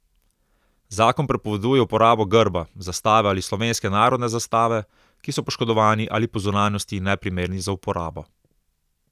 Zakon prepoveduje uporabo grba, zastave ali slovenske narodne zastave, ki so poškodovani ali po zunanjosti neprimerni za uporabo.